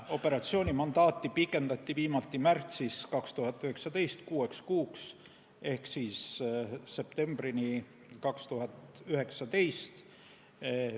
Operatsiooni mandaati pikendati viimati märtsis 2019 kuueks kuuks ehk septembrini 2019.